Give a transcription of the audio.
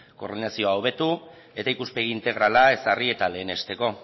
koordinazioa hobetu eta ikuspegi integrala ezarri eta lehenesteko